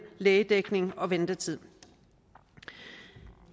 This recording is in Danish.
lægedækning og ventetid